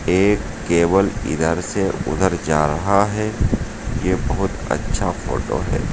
एक केवल इधर से उधर जा रहा है यह बहुत अच्छा फोटो है।